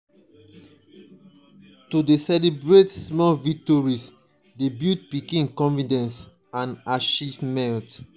to dey celebrate small victories dey build pikin confidence and achievement.